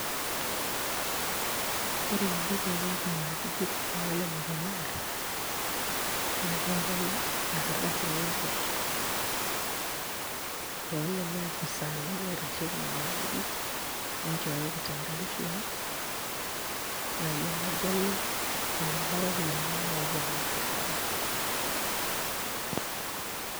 Ore eninko pee ilak nena ajijik naalelek elaare naa keetai enkardasi nimput toolelo ofisaani loitasheiki nena ajijik nincooyo kitambulisho ino naa iyie nagelu eneba iropiyiani nimooki alak tolapa.